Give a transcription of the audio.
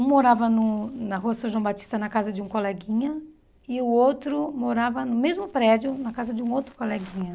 Um morava no na rua São João Batista, na casa de um coleguinha, e o outro morava no mesmo prédio, na casa de um outro coleguinha.